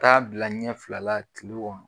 Taa bila ɲɛ fila kile kɔnɔ.